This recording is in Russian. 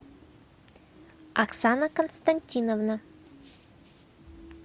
оксана константиновна